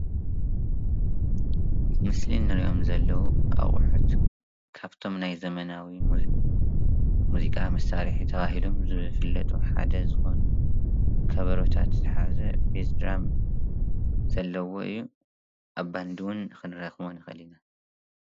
ኣብዚ ምስሊ እንሪኦም ዘለው አቑሑት ካብቶም ናይ ዘመናዊ ሙዚቃ መሳሪሒታት ተባሂሎም ዝፍለጡ ሓደ ዝኮኑ ከበሮታት ዝሓዘ ቤዝድራም ዘለዎ እዩ። ኣብ ባንዲ እውን ክንረኽቦ ንኽእል ኢና፡፡